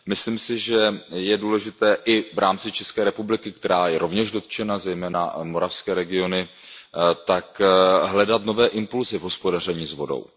Myslím si, že je důležité i v rámci České republiky, která je rovněž dotčena, zejména moravské regiony, hledat nové impulsy v hospodaření s vodou.